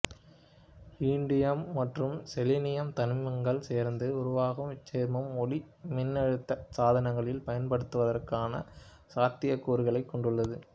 indium மற்றும் selenium தனிமங்கள் சேர்ந்து உருவாகும் இச்சேர்மம் ஒளிமின்னழுத்த சாதனங்களில் பயன்படுத்துவதற்கான சாத்தியக்கூறுகளைக் கொண்டுள்ளது